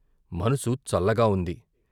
మనసు చల్లగా వుంది.